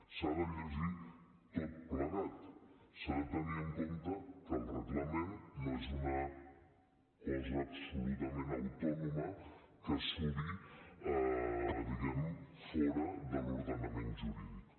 s’ha de llegir tot plegat s’ha de tenir en compte que el reglament no és una cosa absolutament autònoma que suri diguem ne fora de l’ordenament jurídic